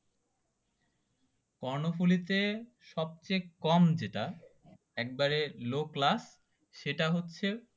কর্ণফুলী তে সবচেয়ে কম যেটা একদম লো ক্লাস সেটা হচ্চে